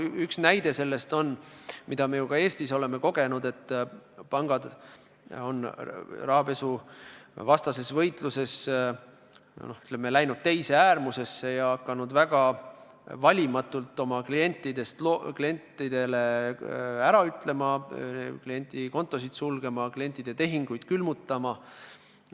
Üks näide on see – oleme seda ka Eestis kogenud –, kuidas pangad on rahapesuvastases võitluses läinud teise äärmusse ja hakanud väga valimatult oma klientidele ära ütlema, kliendikontosid sulgema, klientide tehinguid külmutama.